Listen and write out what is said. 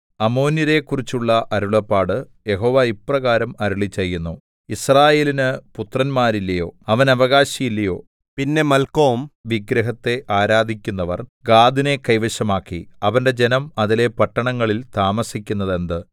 അമ്മോന്യരെക്കുറിച്ചുള്ള അരുളപ്പാട് യഹോവ ഇപ്രകാരം അരുളിച്ചെയ്യുന്നു യിസ്രായേലിനു പുത്രന്മാരില്ലയോ അവന് അവകാശി ഇല്ലയോ പിന്നെ മല്ക്കോം വിഗ്രഹത്തെ ആരാധിക്കുന്നവര്‍ ഗാദിനെ കൈവശമാക്കി അവന്റെ ജനം അതിലെ പട്ടണങ്ങളിൽ താമസിക്കുന്നതെന്ത്